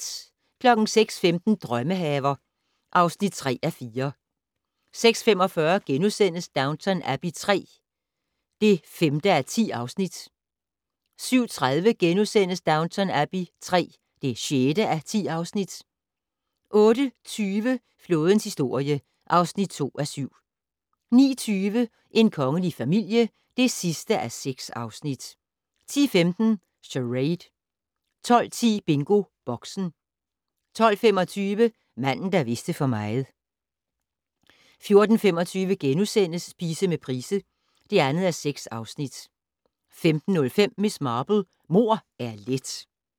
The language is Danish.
06:15: Drømmehaver (3:4) 06:45: Downton Abbey III (5:10)* 07:30: Downton Abbey III (6:10)* 08:20: Flådens historie (2:7) 09:20: En kongelig familie (6:6) 10:15: Charade 12:10: BingoBoxen 12:25: Manden der vidste for meget 14:25: Spise med Price (2:6)* 15:05: Miss Marple: Mord er let